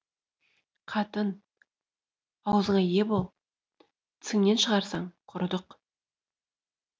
қатын ауызыңа ие бол тісіңнен шығарсаң құрыдық